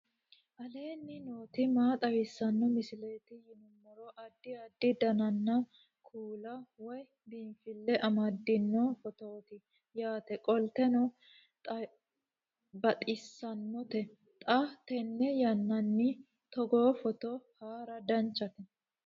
aleenni nooti maa xawisanno misileeti yinummoro addi addi dananna kuula woy biinfille amaddino footooti yaate qoltenno baxissannote xa tenne yannanni togoo footo haara danchate